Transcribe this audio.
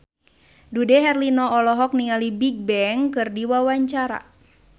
Dude Herlino olohok ningali Bigbang keur diwawancara